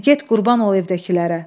Dedi, get qurban ol evdəkilərə.